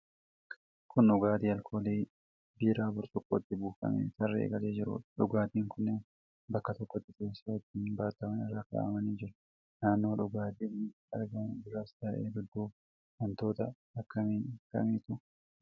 Kun dhugaatii alkoolii biiraa burcuqqootti buufamee tarree galee jiruudha. Dhugaatiin kunnneen bakka tokkotti teessoo ittiin baataman irra kaa'amanii jiru. Naannoo dhugaatiin kun itti argamu duras ta'e dudduuba wantoota akkam akkamiitu jira?